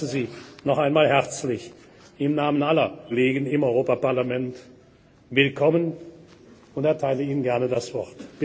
sich einsetzen. Ich heiße Sie noch einmal im Namen aller Kolleginnen und Kollegen im Europäischen Parlament herzlich willkommen und erteile Ihnen